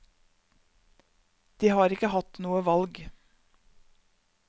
De har ikke hatt noe valg.